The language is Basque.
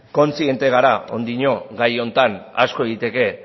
kontziente gara oraindik gai honetan asko egiteko